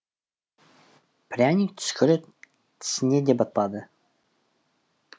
пряник түскірі тісіне де батпады